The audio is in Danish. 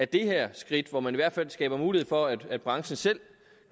det her skridt hvor man skaber mulighed for at branchen selv